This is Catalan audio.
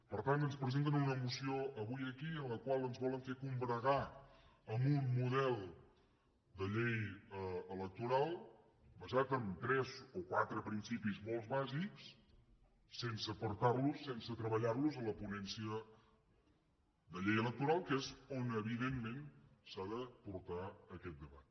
per tant ens presenten una moció avui aquí en la qual ens volen fer combregar amb un model de llei electoral basat en tres o quatre principis molt bàsics sense portarlos sense treballarlos a la ponència de llei electoral que és on evidentment s’ha de portar aquest debat